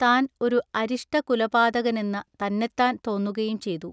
താൻ ഒരു അരിഷ്ടകുലപാതകനെന്ന തന്നെത്താൻ തോന്നുകയും ചെയ്തു.